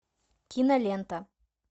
кинолента